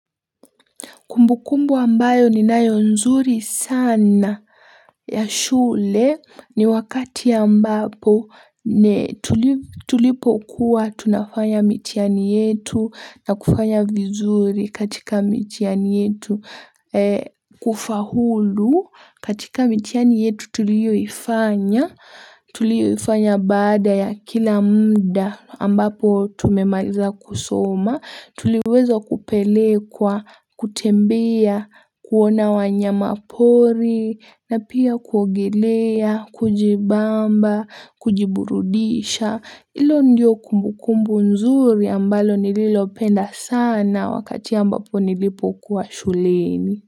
Kumbukumbu ambayo ninayo nzuri sana ya shule ni wakati ambapo tulipokuwa tunafanya mitihani yetu na kufanya vizuri katika mitihani yetu kufaulu. Katika mitihani yetu tulioifanya, tulioifanya baada ya kila muda ambapo tumemaliza kusoma, tuliweza kupelekwa kutembea, kuona wanyama pori, na pia kuogelea, kujibamba, kujiburudisha, hilo ndio kumbukumbu nzuri ambalo nililopenda sana wakati ambapo nilipokuwa shuleni.